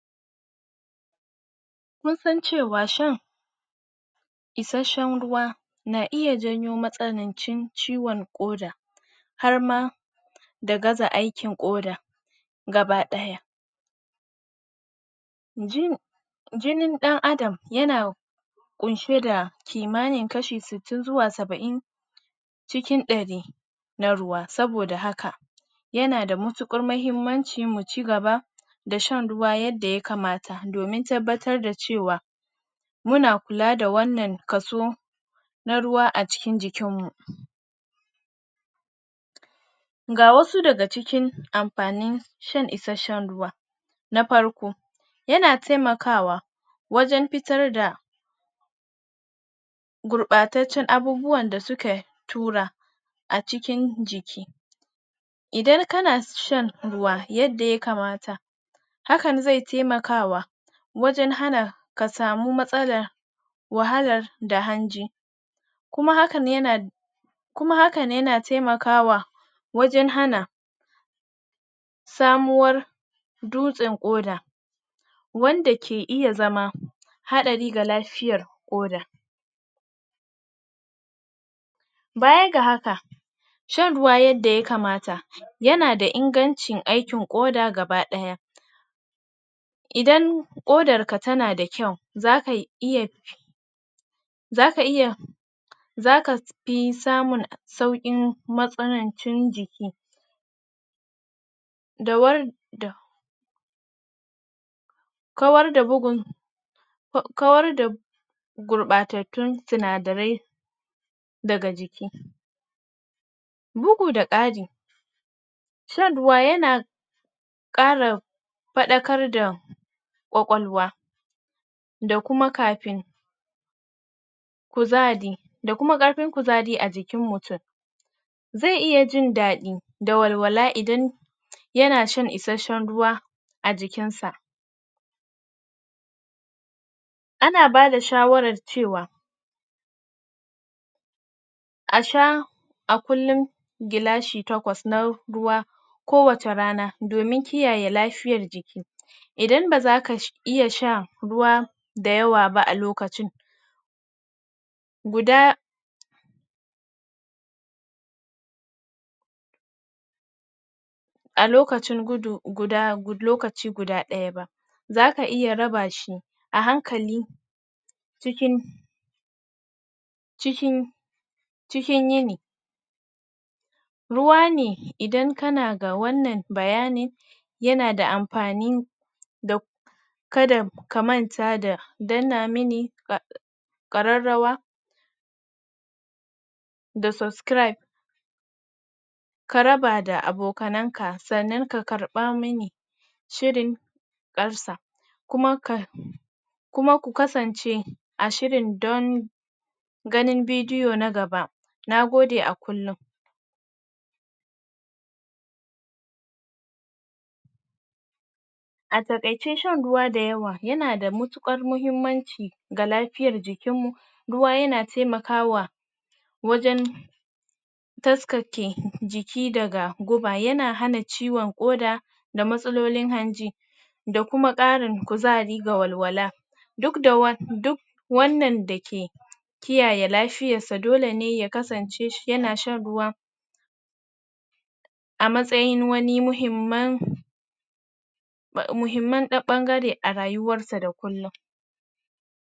Mun san cewa shan isashshan ruwa na iya jawo ciwon koda har ma da har ma da gaza aikin koda gaba daya, jinin dan Adam yana kunshe da kimanin kashi sittin zuwa sabain cikin dari na ruwa. Saboda haka yana da matukar mahimmaci mu cigaba da shan ruwa yadda ya kamata fomin tabbatar da cewa muna kula da wannan kaso na ruwa a cikin jikin mu. Ga wasu daga cikin amfanin shan isashshan ruwa, na farko yana taimakawa wajen fitar da gurbataccen abubuwan da suka tura a cikin jiki, idan kana shan ruwa yadda ya kamata, hakan zai taimaka wajen hana ka samun wahalar da hanji, kuma hakan yana taimakawa wajen hana samuwar dutsen koda, wanda ke iya zama hadari ga lafiyar koda, baya ga haka shan ruwa yadda ya kamata yana da inganci da hana koda gaba daya, idan kodar ka tana da kyau zaka fi zaka fi samun saukin matsanan cin jiki da war- da kawar da gurbatattun sinadarai daga jiki, bugu da kari ruwa yana kara fadakarda kwakwalwa da kuma karfin da kuma karfin kuzari a jikin mutum zai iya jin dadi da walwala idan yana shan isashshan ruwa a jikin sa ana bada shawarar cewa a sha a kullum gilashi takwas na ruwa a kowace rana domin kiyaye lafiyar jiki, idan ba zaka iya shan ruwa da yawa ba a lokacin guda a lokacin guda daya ba, zaka iya raba shi a hankali cikin cikin cikin yini ruwa ne idan kana ga wannan bayanin yana da amfani, kada ka manta ka danna mini kararrawa da subscribe ka raba da abokan ka, sannan ka karba mini shiri, kuma ku kasance a kowane shiri dan ganin video na gaba, nagode a kullum. A takaice shan ruwa da yawa yana da matukar mahimmaci ga lafiyar jikin mu, ruwa yana taimakawa wajen taskake jiki daga guba yana hana ciwon koda da matsalolin hanji da kuma karin guzari da walwala, duk da wannan dake kiyaye lafiyar sa dole ne ya kasan ce yana shan ruwa a matsayin wani muhimman bangare a rayuwar sa na kullum.